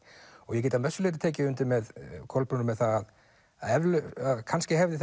ég get að vissu leyti tekið undir með Kolbrúnu með það að kannski hefði